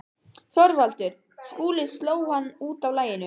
ÞORVALDUR: Skúli sló hann út af laginu.